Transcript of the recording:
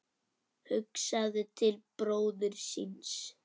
Hugsaði til bróður síns.